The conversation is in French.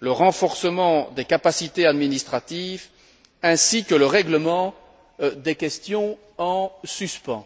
le renforcement des capacités administratives ainsi que le règlement des questions en suspens.